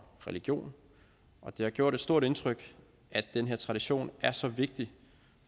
religion og det har gjort et stort indtryk at den her tradition er så vigtig